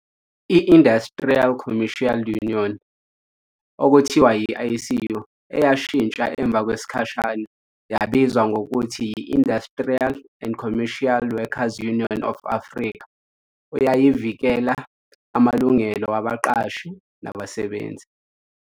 i-Industrial and Commercial Union okuthiwa yi, ICU, eyashintsha emva kwesikhashana yabizwa ngokuthi yi- Industrial and Commercial workers Union of Africa, uyayivikela amalungelo wabaqashi nabasebenzi.